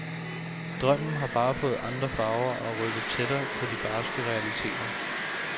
Drømmen har bare fået andre farver og er rykket tættere på de barske realiteter.